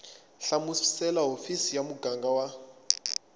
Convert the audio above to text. hlamusela hofisi ya muganga wa